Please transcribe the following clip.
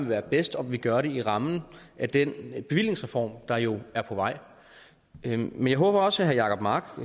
være bedst at vi gør det i rammen af den bevillingsreform der jo er på vej men jeg håber også at herre jacob mark